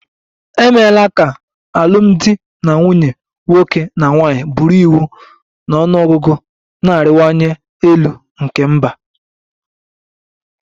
E meela ka alụmdi na nwunye nwoke na nwanyị bụrụ iwu na ọnụ ọgụgụ na-arịwanye elu nke mba